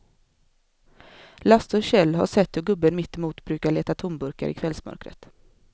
Lasse och Kjell har sett hur gubben mittemot brukar leta tomburkar i kvällsmörkret.